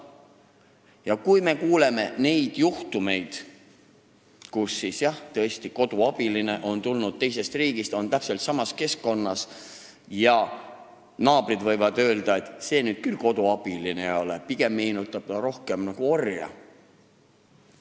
Me oleme kuulnud juhtumitest, kus koduabiline on teisest riigist siia tulnud, aga on täpselt samas keskkonnas kui varem ja naabrid võivad öelda, et see nüüd küll koduabiline ei ole, pigem meenutab ta rohkem orja.